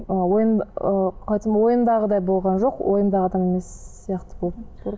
ы ыыы қалай айтсам ойымдағыдай болған жоқ ойымдағы адам емес сияқты болып